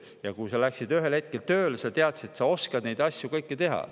Ja kui sa läksid ühel hetkel tööle, siis sa teadsid, et sa oskad kõiki neid asju teha.